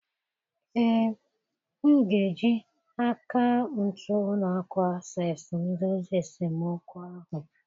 Ee, m ga-eji akaụntụ ụlọ akụ Access m dozie esemokwu ahụ